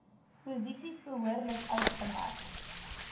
posisies behoorlik uitgemerk